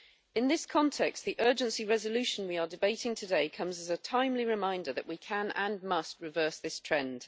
In this context, the urgency resolution we are debating today comes as a timely reminder that we can, and must, reverse this trend.